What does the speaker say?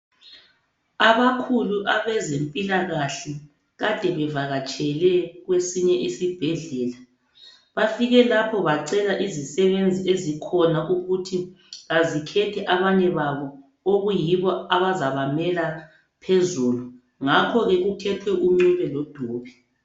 Abakhulu abezempilakahle kade bevakatshele kwesinye isibhedlela. Bafike lapho bacela izisebenzi ezikhona ukuthi azikhethe abanye babo okuyibo abazabamela phezulu. Ngakho-ke kukhethwe uNcube loDube.